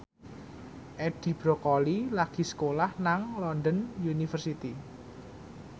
Edi Brokoli lagi sekolah nang London University